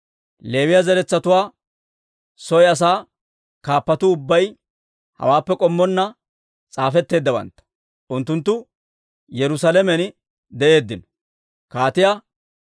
Leewiyaa zaratuwaa soy asaa kaappatuu ubbay hawaappe k'ommonna s'aafetteeddawantta; unttunttu Yerusaalamen de'eeddino.